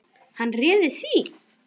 Hvað réði því?